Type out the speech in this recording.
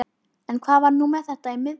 En hvað var nú þetta í miðbænum?